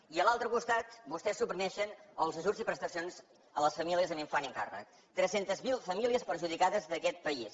i a l’altre costat vostès suprimeixen els ajuts i prestacions a les famílies amb infant a càrrec tres cents miler famílies perjudicades d’aquest país